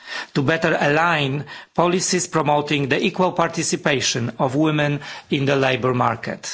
to better align policies promoting the equal participation of women in the labour market.